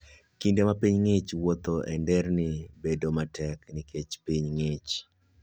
Kinde ma piny ng'ich, wuoth e nderni bedo matek nikech piny ng'ich.